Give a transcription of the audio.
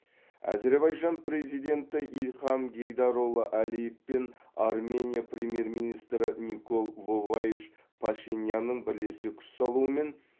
әзербайжан президенті ильхам гейдарұлы әлиев пен армения премьер министрі никол воваевич пашинянның бірлесе күш салуымен